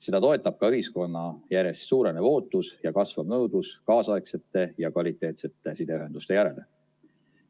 Seda toetab ka ühiskonna järjest suurenev ootus ja kasvav nõudlus kaasaegsete ja kvaliteetsete sideühenduste järele.